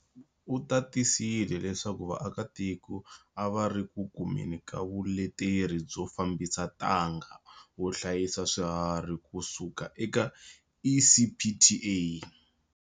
U tatisele leswaku vaakatiko a va ri ku kumeni ka vuleteri byo fambisa ntanga wo hlayisa swiharhi ku suka eka ECPTA.